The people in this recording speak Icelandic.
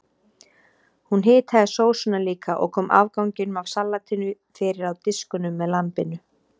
Hún hitaði sósuna líka og kom afganginum af salatinu fyrir á diskunum með lambinu.